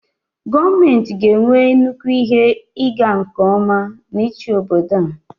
gọọmenti ga-enwe nnukwu ihe ịga nke ọma n'ịchị obodo a